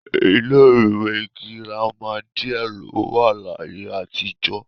ilé ìwé girama díẹ̀ ló wà láyé àtijọ